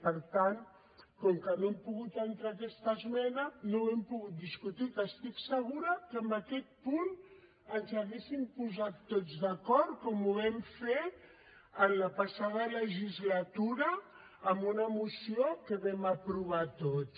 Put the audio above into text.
per tant com que no hem pogut entrar aquesta esmena no ho hem pogut discutir que estic segura que en aquest punt ens hauríem posat tots d’acord com ho vam fer en la passada legislatura amb una moció que vam aprovar tots